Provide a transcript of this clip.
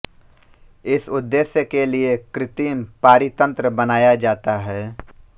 इस उद्देश्य के लिए कृत्रिम पारितंत्र बनाया जाता है